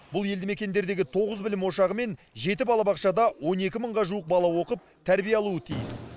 бұл елді мекендердегі тоғыз білім ошағы мен жеті балабақшада он екі мыңға жуық бала оқып тәрбие алуы тиіс